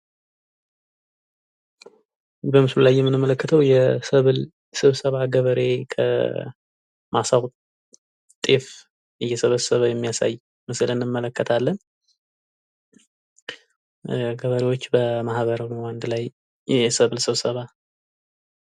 በምስሉ ላይ የምንመለከተው የሰብል ስብሰባ ገበሬ ከማሳው ጤፍ እየሰበሰበ የሚያሳይ ምስል እንመለከታለን። ገበሬዎች በማህበር ሆነው በአንድ ላይ ሆነው ሰብል እየሰበሰቡ የሚያሳይ ምስል ነው።